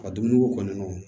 A dumuniko kɔni